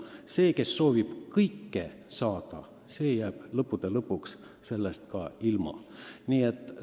Inimene, kes soovib kõike saada, võib lõppude lõpuks kõigest ilma jääda.